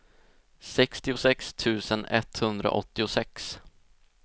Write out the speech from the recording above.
sextiosex tusen etthundraåttiosex